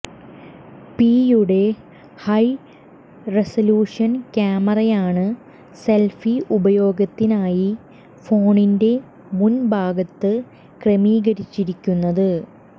പിയുടെ high resolution ക്യാമറയാണ് selfie ഉപയോഗത്തിനായി ഫോണിന്റെ മുൻ ഭാഗത്ത് ക്രമീകരിച്ചിരിക്കുന്നത്